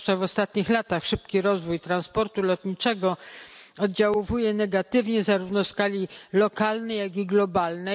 Zwłaszcza w ostatnich latach szybki rozwój transportu lotniczego oddziaływa negatywnie zarówno w skali lokalnej, jak i globalnej.